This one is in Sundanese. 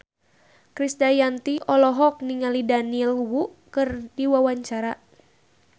Krisdayanti olohok ningali Daniel Wu keur diwawancara